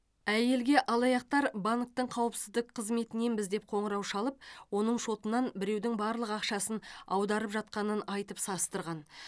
әйелге алаяқтар банктің қауіпсіздік қызметіненбіз деп қоңырау шалып оның шотынан біреудің барлық ақшасын аударып жатқанын айтып састырған